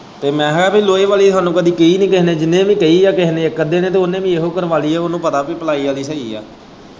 ਤੇ ਮੈਂ ਕਿਹਾ ਵੀ ਲੋਹੇ ਵਾਲ਼ੀ ਹਾਨੂੰ ਕਦੀ ਕੇਹੀ ਨੀ ਜਿੰਨੇ ਵੀ ਕਹੀ ਏ ਇੱਕ ਅੱਧੇ ਨੇ ਉਹਨੇ ਵੀ ਇਹੋ ਕਰਵਾਲੀ ਏ ਉਹਨੂੰ ਪਤਾ ਵੀ ਪਲਾਈ ਆਲ਼ੀ ਸਹੀ ਏ।